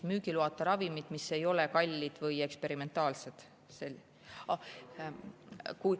Müügiloata ravimid, mis ei ole kallid või eksperimentaalsed?